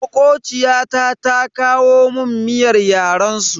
Makociyata ta kawo mun miyar yaren su.